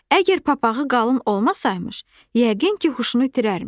Əgər papağı qalın olmasaymış, yəqin ki, huşunu itirərmiş.